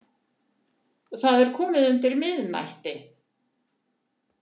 Það var komið undir miðnætti.